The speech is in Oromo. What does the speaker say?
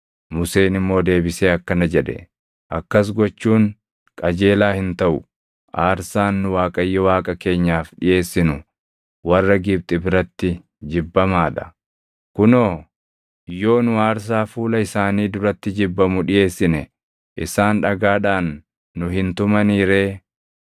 Museen immoo deebisee akkana jedhe; “Akkas gochuun qajeelaa hin taʼu; aarsaan nu Waaqayyo Waaqa keenyaaf dhiʼeessinu warra Gibxi biratti jibbamaa dha. Kunoo, yoo nu aarsaa fuula isaanii duratti jibbamu dhiʼeessine isaan dhagaadhaan nu hin tumanii ree?